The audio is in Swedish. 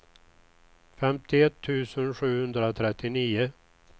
femtioett tusen sjuhundratrettionio